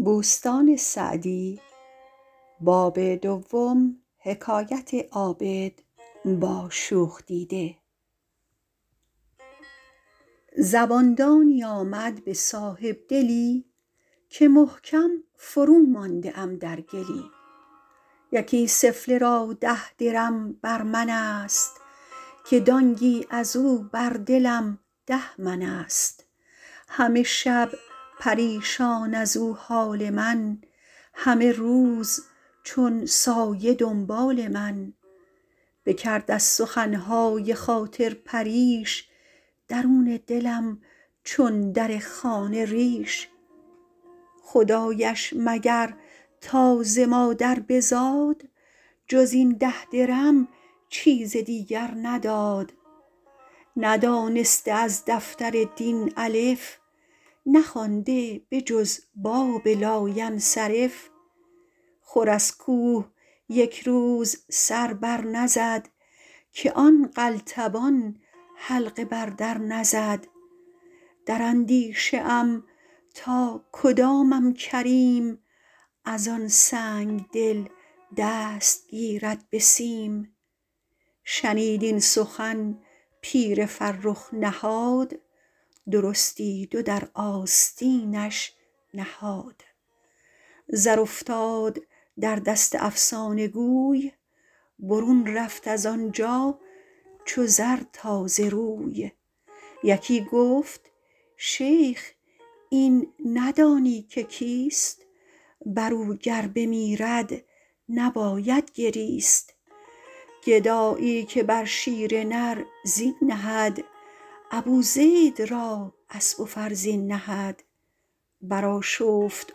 زبان دانی آمد به صاحبدلی که محکم فرومانده ام در گلی یکی سفله را ده درم بر من است که دانگی از او بر دلم ده من است همه شب پریشان از او حال من همه روز چون سایه دنبال من بکرد از سخن های خاطر پریش درون دلم چون در خانه ریش خدایش مگر تا ز مادر بزاد جز این ده درم چیز دیگر نداد ندانسته از دفتر دین الف نخوانده به جز باب لاینصرف خور از کوه یک روز سر بر نزد که آن قلتبان حلقه بر در نزد در اندیشه ام تا کدامم کریم از آن سنگدل دست گیرد به سیم شنید این سخن پیر فرخ نهاد درستی دو در آستینش نهاد زر افتاد در دست افسانه گوی برون رفت از آنجا چو زر تازه روی یکی گفت شیخ این ندانی که کیست بر او گر بمیرد نباید گریست گدایی که بر شیر نر زین نهد ابو زید را اسب و فرزین نهد بر آشفت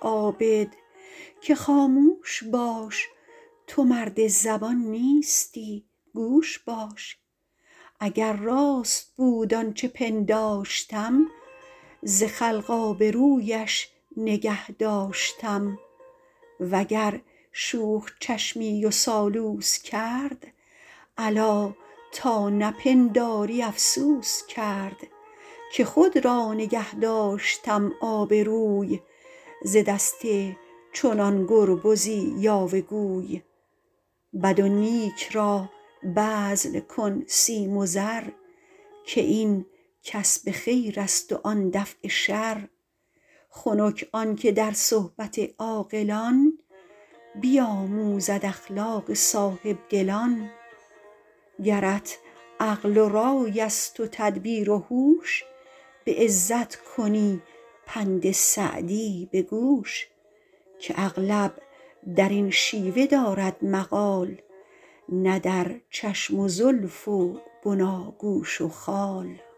عابد که خاموش باش تو مرد زبان نیستی گوش باش اگر راست بود آنچه پنداشتم ز خلق آبرویش نگه داشتم وگر شوخ چشمی و سالوس کرد الا تا نپنداری افسوس کرد که خود را نگه داشتم آبروی ز دست چنان گربزی یاوه گوی بد و نیک را بذل کن سیم و زر که این کسب خیر است و آن دفع شر خنک آن که در صحبت عاقلان بیاموزد اخلاق صاحبدلان گرت عقل و رای است و تدبیر و هوش به عزت کنی پند سعدی به گوش که اغلب در این شیوه دارد مقال نه در چشم و زلف و بناگوش و خال